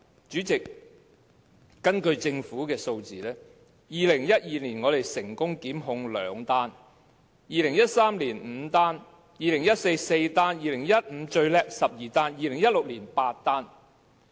主席，根據政府的數字，在2012年成功檢控的個案有兩宗，在2013年有5宗，在2014年有4宗，在2015年做得最好，有12宗，在2016年則有8宗。